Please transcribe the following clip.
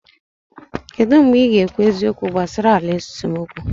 Kedu mgbe ị ga-ekwu eziokwu gbasara ala esemokwu?